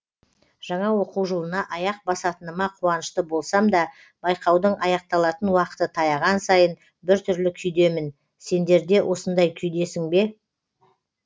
жаңа оқу жылына аяқ басатыныма қуанышты болсам да байқаудың аяқталатын уақыты таяған сайын біртүрлі күйдемін сендерде осындай күйдесің бе